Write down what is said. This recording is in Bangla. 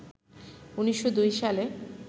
১৯০২ সালে